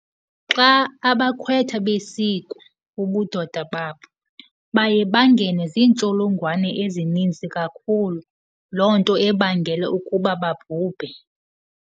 Xa abakhwetha besikwa ubudoda babo baye bangenwe ziintsholongwane ezininzi kakhulu, loo nto ebangela ukuba babhubhe.